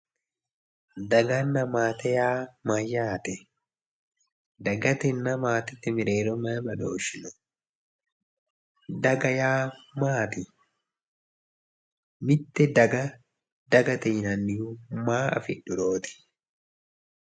Daganna maate yaa mayyaate? dagatenna maatete mereero may badooshshi no?daga yaa maati? mitte daga dagate yinannihu maa afi'dhurooti?